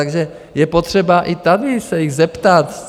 Takže je potřeba i tady se jich zeptat.